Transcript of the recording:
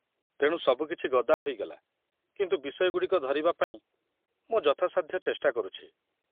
ତେଣୁ ସବୁକିଛି ଗଦା ହୋଇଗଲା, କିନ୍ତୁ ବିଷୟଗୁଡ଼ିକ ଧରିବା ପାଇଁ ମୁଁ ଯଥାସାଧ୍ୟ ଚେଷ୍ଟା କରୁଛି।